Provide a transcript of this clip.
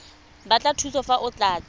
batla thuso fa o tlatsa